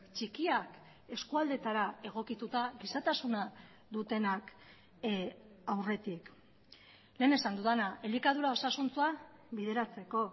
txikiak eskualdeetara egokituta gizatasuna dutenak aurretik lehen esan dudana elikadura osasuntsua bideratzeko